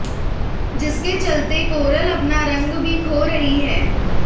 जिसके चलते कोरल अपना रंग भी खो रही हैं